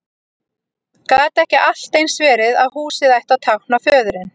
Gat ekki allt eins verið að húsið ætti að tákna föðurinn?